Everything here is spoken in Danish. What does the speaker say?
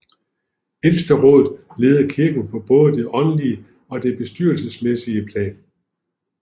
Ældsterådet leder kirken på både det åndelige og det bestyrelsesmæssige plan